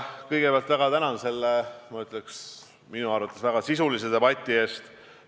Ma kõigepealt väga tänan selle, ma ütleks, väga sisulise debati eest.